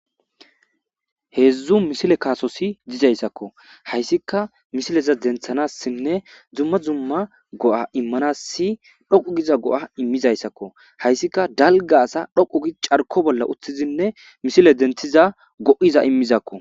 Hedzdzu misile kutoyi dizayisako hesika misile dentanasi nne duma duma go,a imanasi dhoqu giza go, a imizayisako hayisika dalga asa dhoqu gidi ca,rko bolla utizinne misile dentiza go,aza imizako